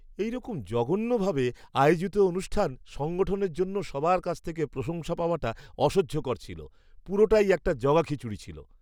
এইরকম জঘন্যভাবে আয়োজিত অনুষ্ঠান সংগঠনের জন্য সবার কাছ থেকে প্রশংসা পাওয়াটা অসহ্যকর ছিল, পুরোটাই একটা জগাখিচুড়ি ছিল!